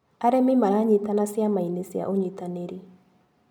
Arĩmi maranyitana ciamainĩ cia ũnyitanĩri.